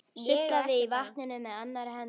Sullaði í vatninu með annarri hendi.